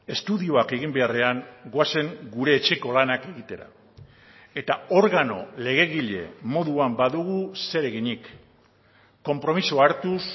estudioak egin beharrean goazen gure etxeko lanak egitera eta organo legegile moduan badugu zereginik konpromisoa hartuz